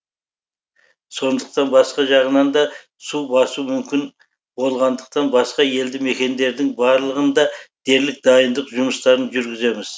сондықтан басқа жағынан да су басу мүмкін болғандықтан басқа елді мекендердің барлығында дерлік дайындық жұмыстарын жүргіземіз